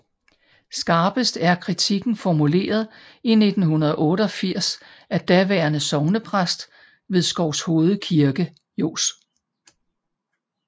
Skarpest er kritikken formuleret i 1988 af daværende sognepræst ved Skovshoved Kirke Johs